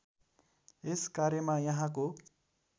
यस कार्यमा यहाँको